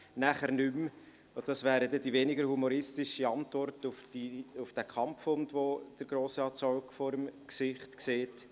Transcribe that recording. Danach nicht mehr – und das wäre dann die weniger humoristische Antwort auf den Kampfhund, den Grossrat Zaugg vor dem Gesicht sieht: